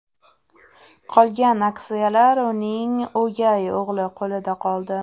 Qolgan aksiyalar uning o‘gay o‘g‘li qo‘lida qoldi.